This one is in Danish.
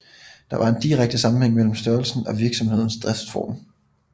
Der var en direkte sammenhæng mellem størrelsen og virksomhedens driftsform